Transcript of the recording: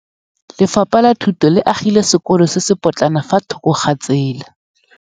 Lefapha la Thuto le agile sekôlô se se pôtlana fa thoko ga tsela.